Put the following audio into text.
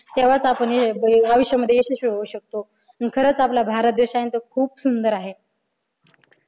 तेव्हाच आपण आयुष्यामध्ये यशस्वी होऊ शकतो नि खरंच आपला भारत देश आहे आहे ना तो खूप सुंदर आहे.